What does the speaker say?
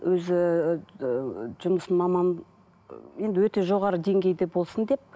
өзі ыыы жұмысын маман ы енді өте жоғарғы деңгейде болсын деп